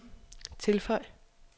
tilføj